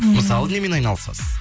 мысалы немен айналысасыз